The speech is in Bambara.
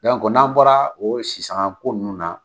Yan ko n'an bɔra o sisan ko nunnu na.